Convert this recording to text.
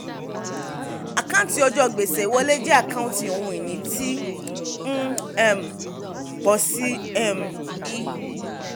àkáǹtí ọjọ́ gbèsè ìwọlé jẹ́ àkáǹtí ohun ìní tí ń um pọ̀ sí um i.